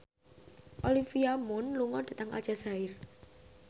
Olivia Munn lunga dhateng Aljazair